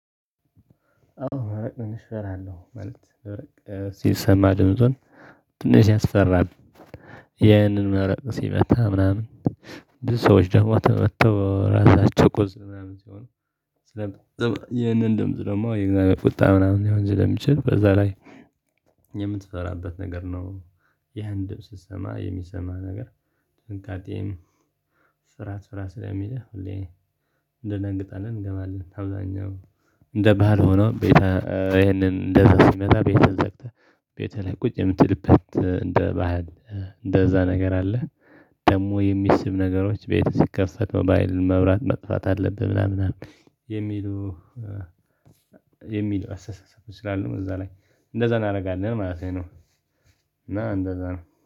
አዎ ማለት ትንሽ እፈራለሁ። ሲሰማ ድምጹን ትንሽ ያስፈራል። ይህንን መረቅ ሲመጣ ምናምን ብዙ ሰዎች ደግሞ ተመተው ራሳቸው ቆስለው ምናምን ሲሆኑ። ስለ ይህንን ድምጽ ደግሞ የእግዝአብሄር ቁጣ ምናምን ሊሆን ስለሚችል በዛ ላይ የምትፈራበት ነገር ነው። ይህን ድምጽ ስትሰማ የሚሰማህ ነገር ጥንቃቄም ስራ ስለሚልህ ሁሌ እደንግጣለን እንገባለን። አብዛኛው እንደ ባህል ሆኖ ቤተ ይሄንን እንደዛ ሲመጣ ቤትህን ዘግተህ ቤትህ ላይ ቁጭ የምትልበት እንደ ባህል እንደዛ ነገር አለ። ደግሞ የሚስብ ነገሮች ቤት ሲከፈት መብራት መጥፋት አለብህ ምናምን። የሚሉ የሚሉ አሰሰስ ስላለው እዛ ላይ እንደዛ እናደርጋለን ማለት ነው። እና እንደዛ ነው